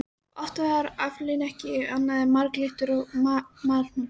Oft var aflinn ekki annað en marglyttur og marhnútar.